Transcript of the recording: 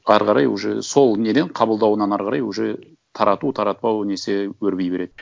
ары қарай уже сол неден қабылдауынан ары қарай уже тарату таратпау несі өрби береді